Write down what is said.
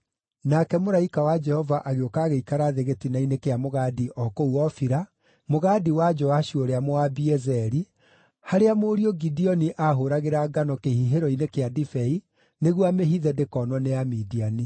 Nake mũraika wa Jehova agĩũka agĩikara thĩ gĩtina-inĩ kĩa mũgandi o kũu Ofira, mũgandi wa Joashu ũrĩa Mũabiezeri, harĩa mũriũ Gideoni aahũũragĩra ngano kĩhihĩro-inĩ kĩa ndibei nĩguo amĩhithe ndĩkonwo nĩ Amidiani.